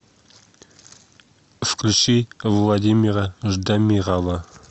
включи владимира ждамирова